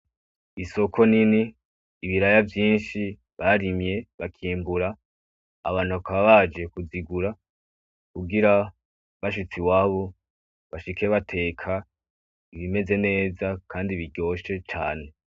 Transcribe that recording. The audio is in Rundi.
Isoko nini, ibiraya vyinshi barimye bakimbura abantu bakaba baje kuzigura kugira bashitse iwabo bashike bateka ibimeze neza kandi biryoshe cane.